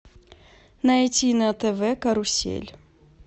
найти на тв карусель